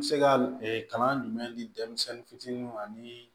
N bɛ se ka kalan jumɛn di denmisɛnnin fitininw ma ani